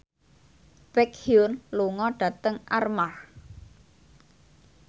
Baekhyun lunga dhateng Armargh